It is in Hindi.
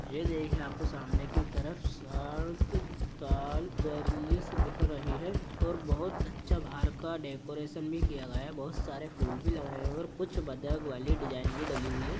ये देखिए आपको सामने की तरफ स्वर्ग काल ज्वरलिस दिख रही है और बहुत अच्छा बाहर का डेकोरेशन भी किया गया है बहुत सारे फूल भी लग रहे है और कुछ बदक वाली डिजाइन भी डली है।